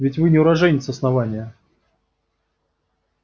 ведь вы не уроженец основания